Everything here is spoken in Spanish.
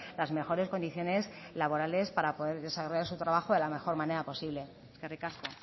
las mejores condiciones laborales para poder desarrollar su trabajo de la mejor manera posible eskerrik asko